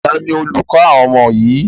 Taàní olùkọ́ àwọn ọmọ yìí?